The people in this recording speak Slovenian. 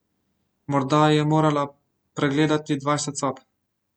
Morda je morala pregledati dvajset sob.